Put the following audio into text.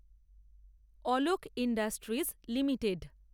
Alok industries limited